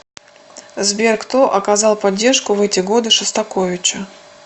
сбер кто оказал поддержку в эти годы шостаковичу